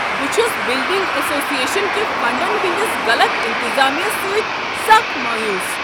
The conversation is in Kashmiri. بہٕ چھس بلڈنگ ایسوسیشن کہ فنڈن ہنٛدس غلط انتظامہٕ سۭتۍ سکھ مایوس۔